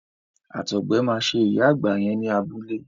Àtọgbẹ máa ṣe ìyá àgbà yẹn ní abúlé.